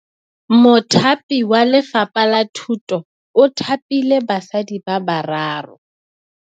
Mothapi wa Lefapha la Thutô o thapile basadi ba ba raro.